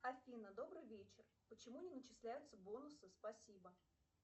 афина добрый вечер почему не начисляются бонусы спасибо